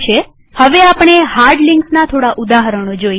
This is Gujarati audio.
હવે આપણે હાર્ડ લિંક્સના થોડા ઉદાહરણો જોઈએ